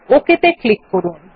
OK ত়ে click করুন